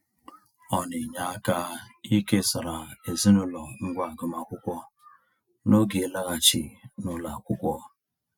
Ọ na-enye aka ikesara ezinaụlọ ngwá agụmaakwụkwọ n'oge ịlaghachi n'ụlọ akwụkwọ.